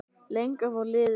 Lengra fór liðið ekki.